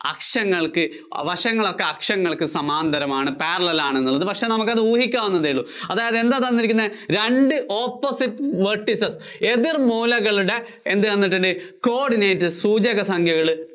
അക്ഷങ്ങള്‍ക്ക്, വശങ്ങളൊക്കെ അക്ഷങ്ങള്‍ക്ക് സമാന്തരമാണ് parallel ആണെന്നുള്ളത്. പക്ഷേ നമുക്കത് ഊഹിക്കാവുന്നതെ ഉള്ളൂ. അതായത് എന്താ തന്നിരിക്കുന്നെ രണ്ട് എതിര്‍ മൂല opposite vertices ളുടെ എന്തു തന്നിട്ടുണ്ട്? coordinate സൂചക സംഖ്യകള്